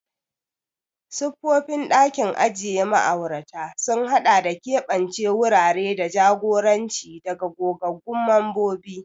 Siffofin ɗakin ajiye ma'aurata sun haɗa da keɓance wurare da jagoranci daga gogaggun mambobi.